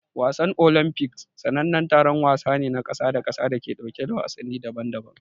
Wasannin Olimpiks sanannen taron wasanni ne na kasa da kasa da ke ɗauke da wasanni daban-daban.